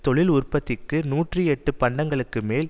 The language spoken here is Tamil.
தொழில் உற்பத்திக்கு நூற்றி எட்டு பண்டங்களுக்கு மேல்